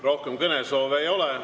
Rohkem kõnesoove ei ole.